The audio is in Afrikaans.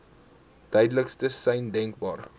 duidelikste sein denkbaar